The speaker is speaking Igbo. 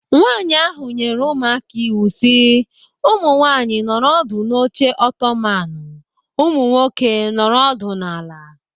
Nwaanyị ahụ nyere ụmụaka iwu si, "Ụmụ nwaanyị nọrọ ọdụ n'oche Otomanu; ụmụ nwoke, nọrọ ọdụ n'ala!"